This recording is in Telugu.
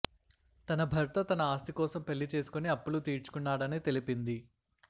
తన భర్త తన ఆస్తి కోసం పెళ్లి చేసుకొని అప్పులు తీర్చుకున్నాడని తెలిపింది